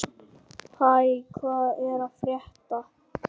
Hæ, hvað er að frétta?